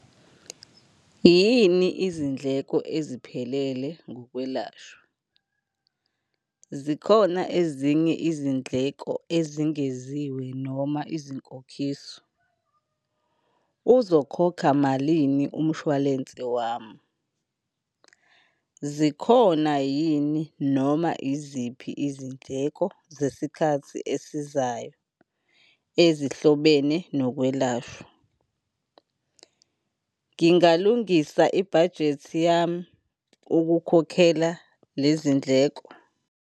Yini izindleko eziphelele ngokwelashwa? Zikhona ezinye izindleko ezengeziwe noma izinkokhiso? Uzokhokha malini umshwalense wami? Zikhona yini noma iziphi izindleko zesikhathi esizayo ezihlobene nokwelashwa? Ngingalungisa ibhajethi yami ukukhokhela lezi ndleko?